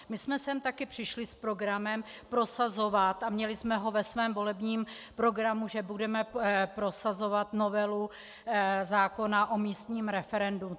My jsme sem také přišli s programem prosazovat, a měli jsme ho ve svém volebním programu, že budeme prosazovat novelu zákona o místním referendu.